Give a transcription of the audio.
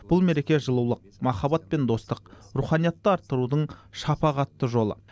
бұл мереке жылулық махаббат пен достық руханиятты арттырудың шапағатты жолы